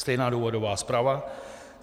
Stejná důvodová zpráva.